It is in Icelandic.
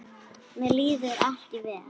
Mér líður ekki vel.